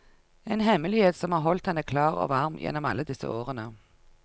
En hemmelighet som har holdt henne klar og varm gjennom alle disse årene.